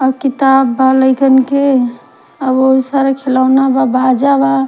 और किताब बा लइकन के और बहुत सारा खिलौना बा बाजा बा।